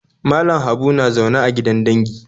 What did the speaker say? Malam Habu na zaune a gidan dangi